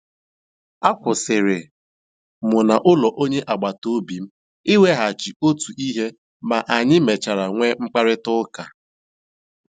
A kwụsịrị m na ụlọ onye agbata obi m iweghachi otu ihe ma anyị mechara nwee mkparịta ụka